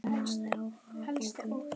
Amma hafði áhuga á bókum.